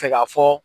Fɛ ka fɔ